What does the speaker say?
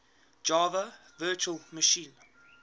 java virtual machine